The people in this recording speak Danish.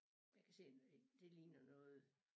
Jeg kan se øh det ligner noget